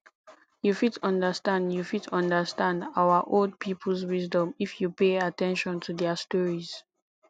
you fit understand you fit understand our old peoples wisdom if you pay at ten tion to their stories